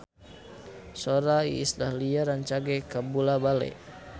Sora Iis Dahlia rancage kabula-bale